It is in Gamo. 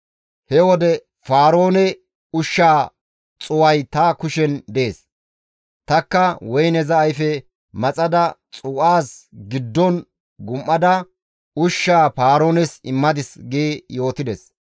He wode Paaroone ushshaa xuu7ay ta kushen dees; tanikka woyneza ayfe maxada xuu7aza giddon gum7ada ushshaa Paaroones immadis» gi yootides.